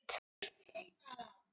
Sæll, ungi maður.